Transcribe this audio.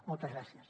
moltes gràcies